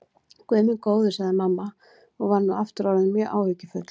Guð minn góður, sagði mamma og var nú aftur orðin mjög áhyggjufull.